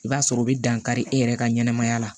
I b'a sɔrɔ o bɛ dan kari e yɛrɛ ka ɲɛnamaya la